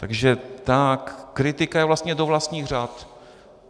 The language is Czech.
Takže ta kritika je vlastně do vlastních řad.